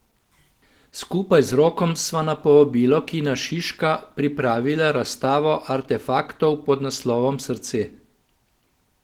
Skupaj z Rokom sva na povabilo Kina Šiška pripravila razstavo artefaktov pod naslovom Srce.